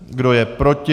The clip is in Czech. Kdo je proti?